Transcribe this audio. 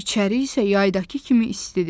İçəri isə yaydakı kimi istidir.